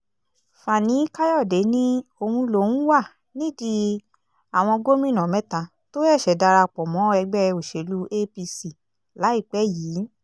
fani-kàyọ̀dé ní òun lòún wà nídìí àwọn gómìnà mẹ́ta tó ṣẹ̀ṣẹ̀ darapọ̀ mọ́ ẹgbẹ́ òṣèlú apc láìpẹ́ yìí